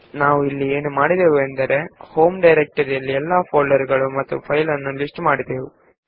ನಾವು ಇಲ್ಲಿ ಎಲ್ಲಾ ಫೈಲ್ ಗಳನ್ನೂ ಹಾಗೂ ಫೋಲ್ಡರ್ ಗಳನ್ನೂ ನಮ್ಮ ಹೋಂ ಡೈರೆಕ್ಟರಿಯಲ್ಲಿ ಪಟ್ಟಿ ಮಾಡಿದ್ದೇವೆ